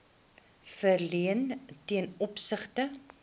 verleen ten opsigte